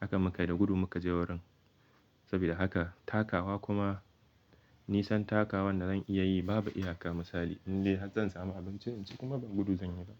Hakan muka yi da gudu muka je wurin sabida haka takawa kuma nisan takawan da zan iya yi babu iya ka misali in dai har zan samu abinci in ci kuma ba gudu zan yi ba.